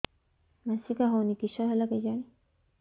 ମାସିକା ହଉନି କିଶ ହେଲା କେଜାଣି